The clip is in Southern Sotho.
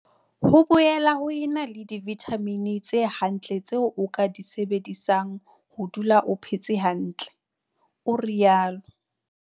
"Ho boela ho ena le divithamini tse hantle tseo o ka di sebedisang ho dula o phetse hantle," o rialo.